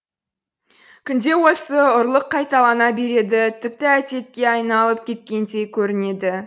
күнде осы ұрлық қайталана береді тіпті әдетке айналып кеткендей көрінеді